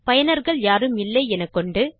பயனர்கள் யாரும் இல்லை எனக்கொண்டு